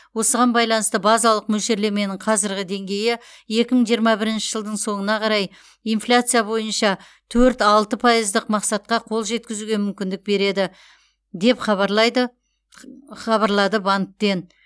осыған байланысты базалық мөлшерлеменің қазіргі деңгейі екі мың жиырма бірінші жылдың соңына қарай инфляция бойынша төрт алты пайыздық мақсатқа қол жеткізуге мүмкіндік береді деп хабарлайды х хабарлады банктен